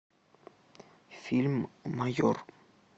фильм майор